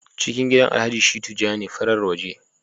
ciki gidan alhaji shittu ja ne, farar waje